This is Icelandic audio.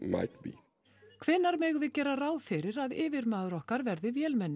hvenær megum við gera ráð fyrir að yfirmaður okkar verði vélmenni